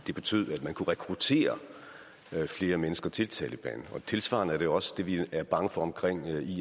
det betød at man kunne rekruttere flere mennesker til taleban og tilsvarende er det jo også det vi er bange for omkring